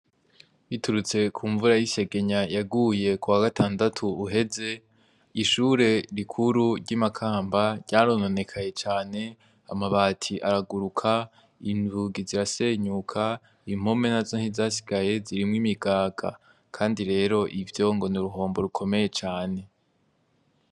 Biturutse ku mvura y'ishegenya yaguye ku wa gatandatu uheze ishure rikuru ry'imakamba ryarononekaye cane amabati araguruka indugi zirasenyuka impome na zo ntizasigaye zirimwo imigaga, kandi rero ivyo ngo ni uruhombo rukomeye cane.